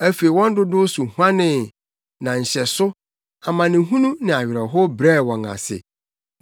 Afei wɔn dodow so huanee na nhyɛso, amanehunu ne awerɛhow brɛɛ wɔn ase;